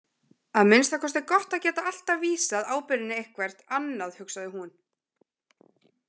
Að minnsta kosti gott að geta alltaf vísað ábyrgðinni eitthvert annað, hugsaði hún.